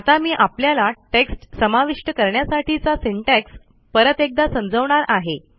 आता मी आपल्याला टेक्स्ट समाविष्ट करण्यासाठीचा सिंटॅक्स परत एकदा समजवणार आहे